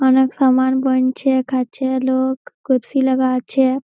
অনেক সামান বইছে খাচ্ছে লোক কুরসী লাগা আছে।